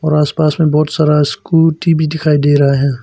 और आस पास में बहुत सारा स्कूटी भी दिखाई दे रहा है।